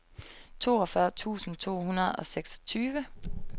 toogfyrre tusind to hundrede og syvogtyve